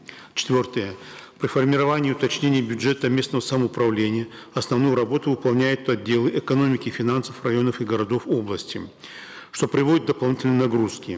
четвертое при формировании уточнении бюджета местного самоуправления основную работу выполняют отделы экономики и финансов районов и городов области что приводит к дополнительной нагрузке